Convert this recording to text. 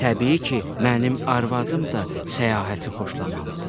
Təbii ki, mənim arvadım da səyahəti xoşlamalıdır.